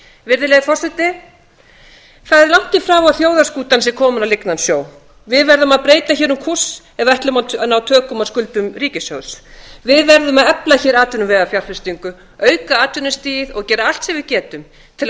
virðulegi forseti það er langt í frá að þjóðarskútan sé komin á lygnan sjó við verðum að breyta um kúrs ef við ætlum að ná tökum á skuldum ríkissjóðs við verðum að efla atvinnuvegafjárfestingu auka atvinnustigið og gera allt sem við getum til að